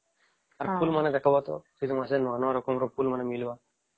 ଆଉ ଫୁଲ ମାନଙ୍କ ଦେଖିବା ଟା ଶୀତ ମାସେ ନୂଆ ନୂଆ ରକମ ର ଫୁଲ ମାନେ ମିଳିବ